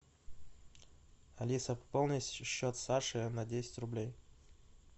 алиса пополни счет саши на десять рублей